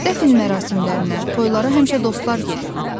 Dəfn mərasimlərinə, toylara həmişə dostlar gedir.